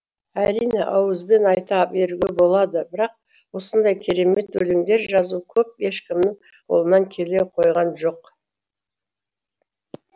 әрине ауызбен айта беруге болады бірақ осындай керемет өлеңдер жазу көп ешкімнің қолынан келе қойған жоқ